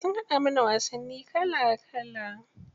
Sun haɗa mana wasanni kala kala.